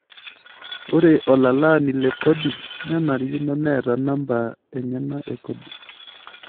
Ore olalaani le kodi nenarikino neeta namba enyana e kodi.